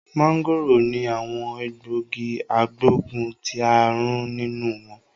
Mangoro ni awon egbogi agboguntiarun ninu won